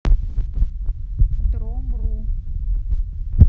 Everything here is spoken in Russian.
дромру